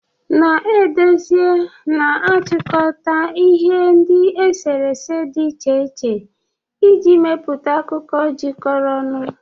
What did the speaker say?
Na-edezi na-achịkọta ihe ndi esere ese di iche iche iji mepụta akụkọ jikọrọ ọnụ.